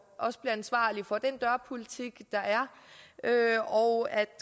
også bliver ansvarlig for den dørpolitik der er og at